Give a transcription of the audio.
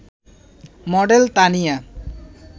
model Tania